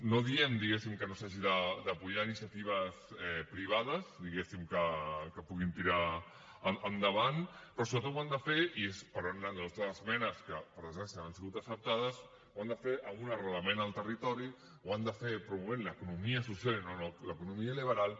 no diem diguéssim que no s’hagi de donar suport a iniciatives privades diguéssim que puguin tirar endavant però sobretot ho han de fer i és per on han anat les nostres esmenes que per desgràcia no han sigut acceptades amb un arrelament al territori ho han de fer promovent l’economia social i no l’economia liberal